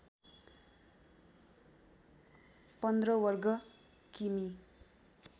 १५ वर्ग किमी